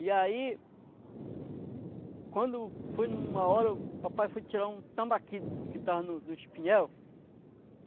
E aí, quando foi em uma hora, o papai foi tirar um tambaqui que estava no no espinhel.